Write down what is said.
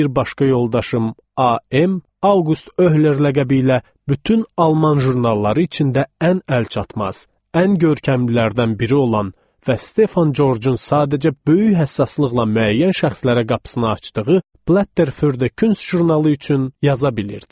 Bir başqa yoldaşım AM Auqust Öhler ləqəbi ilə bütün Alman jurnalları içində ən əlçatmaz, ən görkəmlilərdən biri olan və Stefan Corcun sadəcə böyük həssaslıqla müəyyən şəxslərə qapısını açdığı Blätter für die Kunst jurnalı üçün yaza bilirdi.